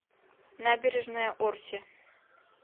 набережная орси